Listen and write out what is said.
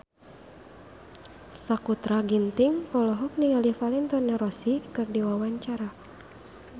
Sakutra Ginting olohok ningali Valentino Rossi keur diwawancara